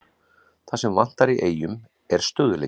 Það sem vantar í Eyjum er stöðugleiki.